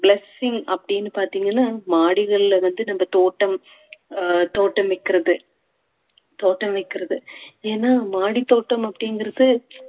blessing அப்படின்னு பார்த்தீங்கன்னா மாடிகள்ல வந்து நம்ம தோட்டம் அஹ் தோட்டம் வைக்கிறது தோட்டம் வைக்கிறது ஏன்னா மாடித்தோட்டம் அப்படிங்கறது